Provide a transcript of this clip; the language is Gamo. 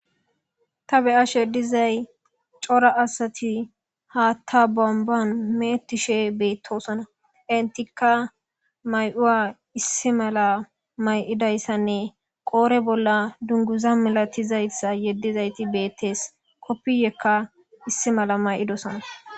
Ta beyashe dizay cora asati haatta bomban mee'ettishe beettosona entikka mayi'uwa issi mala mayi'idayssanne qoore bolla dunguza milatizayssa yeddizaytti beettees koppiyekka issi mala mayidosonna